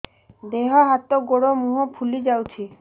ଦେହ ହାତ ଗୋଡୋ ମୁହଁ ଫୁଲି ଯାଉଛି